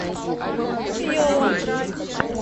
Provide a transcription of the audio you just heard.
йола